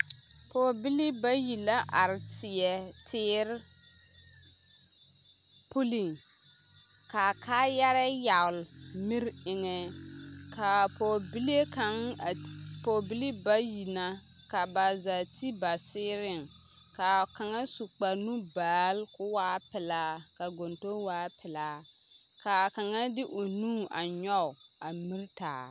Pɔgebilii bayi la are teɛ, teere puliŋ k'a kaayarɛɛ yagele miri eŋɛ k'a pɔgebile kaŋa pɔgebilii bayi na ka ba zaa ti ba seereŋ k'a kaŋa su kpare nu-baale k'o waa pelaa ka gontoŋ waa pelaa, k'a kaŋa de o nu a nyɔge a miri taa.